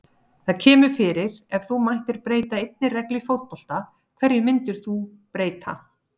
Það kemur fyrir Ef þú mættir breyta einni reglu í fótbolta, hverju myndir þú breyta?